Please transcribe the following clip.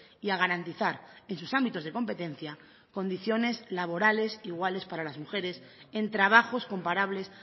y a garantizar en sus ámbitos de competencia condiciones laborales iguales para las mujeres en trabajos comparables